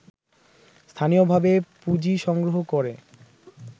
স্থানীয়ভাবে পুঁজি সংগ্রহ করে